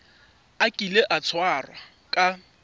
a kile a tshwarwa ka